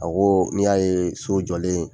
Awɔ n'i y'a ye so jɔlen